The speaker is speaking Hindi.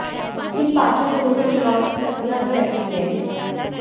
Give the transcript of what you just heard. इन पांचों जिलों में चुनाव की प्रक्रिया अभी अटकी है